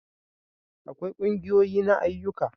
akwai ƙungiyoyi na ayyuka